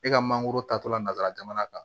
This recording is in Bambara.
E ka mangoro ta tola nanzara jamana kan